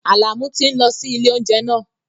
Àlàmú tí ń lọ sí ilé oúnjẹ náà